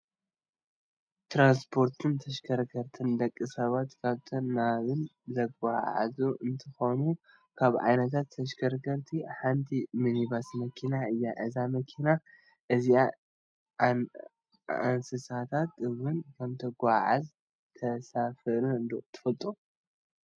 ትራንስፖርትን ተሽከርከርትን፡- ንደቂ ሰባት ካብን ናብን ዘጓዓዕዙ እንትኾኑ ካብ ዓይነታት ተሽከርከርቲ ሓንቲ ሚኒባስ መኪና እያ፡፡ እዛ መኪና እዚኣ አንስሳታት ውን ከምተጓዓዕዝን ተሳፍርን ዶ ትፈልጡ?